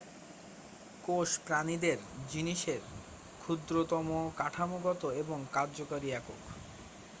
কোষ প্রাণীদের জিনিসের ক্ষুদ্রতম কাঠামোগত এবং কার্যকরী একক।